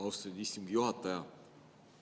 Austatud istungi juhataja!